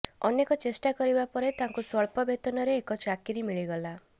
ଅନେକ ଚେଷ୍ଟା କରିବା ପରେ ତାଙ୍କୁ ସ୍ୱଳ୍ପ ବେତନରେ ଏକ ଚାକିରି ମିଳିଗଲା